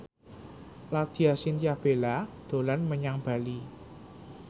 Laudya Chintya Bella dolan menyang Bali